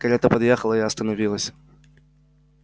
карета подъехала и остановилась